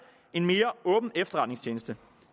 en mere åben efterretningstjeneste